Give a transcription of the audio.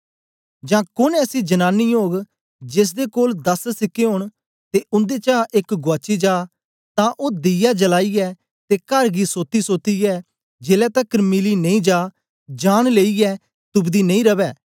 जां कोन ऐसी जनानी ओग जेसदे कोल दस सिक्के ओन ते उन्देचा एक गुआची जा तां ओ दीया जलाईयै ते कर गी सोतीसातीयै जेलै तकर मिली नेई जा जान लेईयै तुपदी नेई रवै